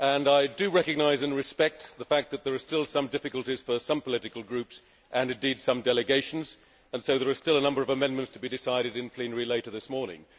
I recognise and respect the fact that there are still some difficulties for some political groups and, indeed, some delegations, and so there are still a number of amendments to be decided in plenary later this morning.